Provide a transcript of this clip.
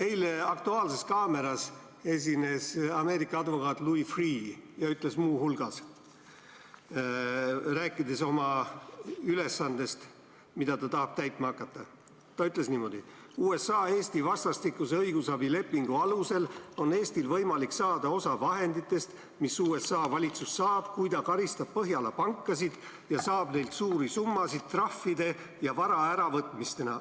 Eile esines "Aktuaalses kaameras" Ameerika advokaat Louis Freeh ja ütles muu hulgas, rääkides oma ülesandest, mida ta tahab täitma hakata, et USA ja Eesti vastastikuse õigusabi lepingu alusel on Eestil võimalik saada osa vahenditest, mis USA valitsus saab, kui ta karistab Põhjamaade pankasid ja saab neilt suuri summasid trahvide ja vara äravõtmisena.